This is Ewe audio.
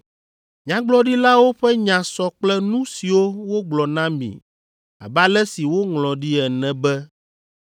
Nyagblɔɖilawo ƒe nya sɔ kple nu siwo wogblɔ na mi abe ale si woŋlɔ ɖi ene be,